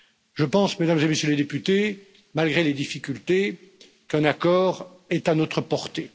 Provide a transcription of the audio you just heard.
Je pense, Mesdames et Messieurs les députés, malgré les difficultés, qu'un accord est à notre portée.